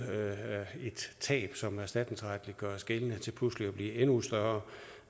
tab som erstatningsretligt gøres gældende til pludselig at blive endnu større